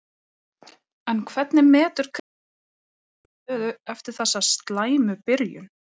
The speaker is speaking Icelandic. Hvernig metur Kristján sína stöðu eftir þessa slæmu byrjun?